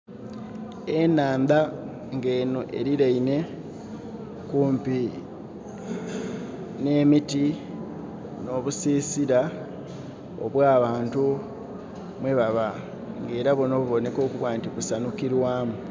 Enhaandha nga enho eriraine kumpi ne miti nobusisira abwa bantu mwebaba nga era bunho bubonekera okuba nti busanhukirwamu.